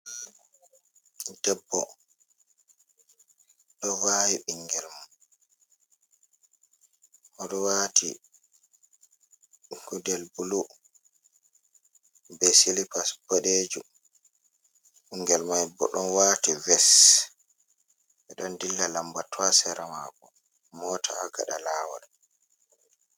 Debbo ɗo vaawi ɓinngel mum, o ɗo waati gudel bulu, be silipas boɗeejum. Ɓinngel may bo, ɗon waati ves, ɓe ɗon dilla lambatu haa sera maako, moota haa gaɗa laawol.